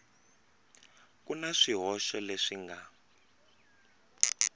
ku na swihoxo leswi nga